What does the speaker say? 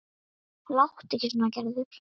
Láttu ekki svona Gerður.